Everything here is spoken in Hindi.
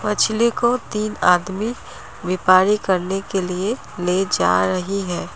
मछली को तीन आदमी व्यपारी करने के लिए ले जा रही है।